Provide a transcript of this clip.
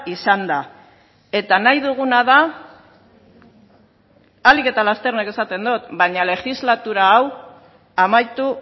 izanda eta nahi duguna da ahalik eta lasterren esaten dut baina legislatura hau amaitu